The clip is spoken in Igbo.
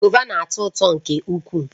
Govà na-atọ ụtọ nke ukwuu